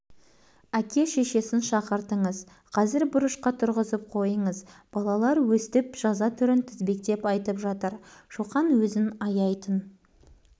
төмен қараған куйі тұнжырап тұр соңғы сөз апайдікі шоқан көрдің ғой саған осы жазаның бәрі лайық